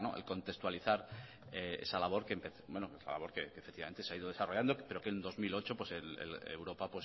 y contextualizar esa labor que se ha ido desarrollando pero que en dos mil ocho europa